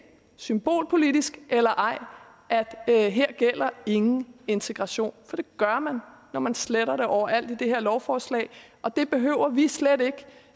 symbolpolitisk eller ej at at her gælder ingen integration for det gør man når man sletter det overalt i det her lovforslag og det behøver vi slet ikke